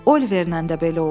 Oliverləndə belə oldu.